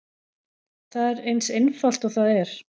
Það er eins einfalt og það er.